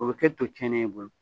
O bɛ to cɛnnen ye i bolo